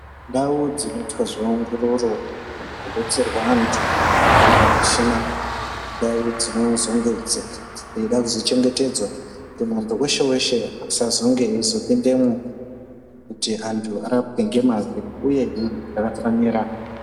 Ndau dzino itwa zve ongororo neku detserwa antu ari pa muchina indau dzino zonge dzeida kuzo chengetedzwa kuti muntu weshe weshe asazonge eyizo pindemwo kuti antu arapwe nge mazvo uyehe zvaka fanira.